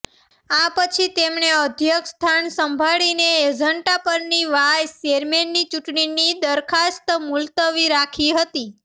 આ પછી તેમણે અધ્યક્ષસ્થાન સંભાળીને એજન્ડા પરની વાઈસ ચેરમેનની ચૂંટણીની દરખાસ્ત મુલતવી રાખી હતી